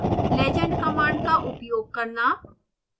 legend command का उपयोग करना